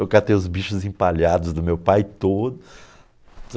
Eu catei os bichos empalhados do meu pai todo.